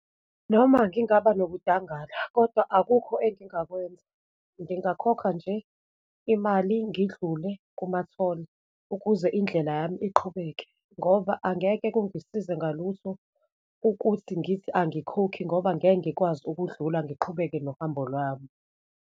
Noma ngingaba nokudangala kodwa akukho engingakwenza, ngingakhokha nje imali ngidlule kumatholi, ukuze indlela yami iqhubeke, ngoba angeke kungisize ngalutho ukuthi ngithi angikhokhi ngoba ngeke ngikwazi ukudlula ngiqhubeke nohambo lwami.